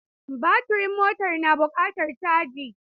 Baturin motar na buƙatar caji.